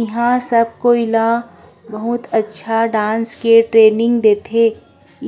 इहाँ सब कोइ ला बहुत अच्छा डांस के ट्रेनिंग देथे